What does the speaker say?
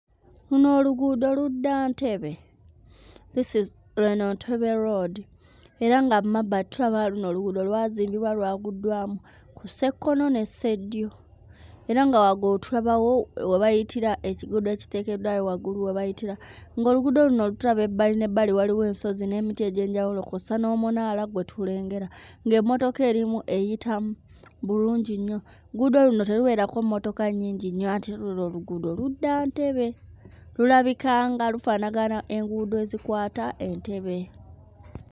Luno oluguudo ludda Entebbe. This is... eno Entebbe road era nga mu mabbali tulaba luno oluguudo lwazimbibwa lwawuddwamu ku ssekkono ne sseddyo era nga waggulu tulabawo we bayitira ekiguudo ekiteekeddwawo waggulu we bayitira, ng'oluguudo luno tulaba ebbali n'ebbali waliwo ensozi n'emiti egy'enjawulo kw'ossa n'omunaala gwe tulengera, ng'emmotoka erimu eyitamu bulungi nnyo. Oluguudo luno terubeerako mmotoka nnyingi nnyo anti luno oluguudo ludda Entebbe. Lulabika nga lufaanagana enguudo ezikwata Entebbe.